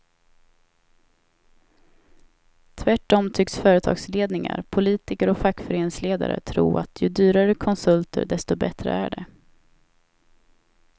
Tvärtom tycks företagsledningar, politiker och fackföreningsledare tro att ju dyrare konsulter desto bättre är det.